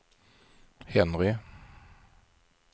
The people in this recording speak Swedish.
Henry